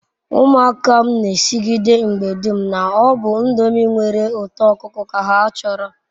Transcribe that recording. Umuaka m n'esigide mgbe dum na-obu ndomi nwere uto okuko ka ha choro